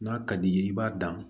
N'a ka d'i ye i b'a dan